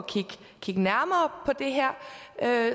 kigge nærmere på det her